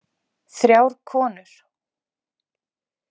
Þrjár konur